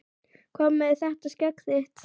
Hvað með þetta skegg þitt.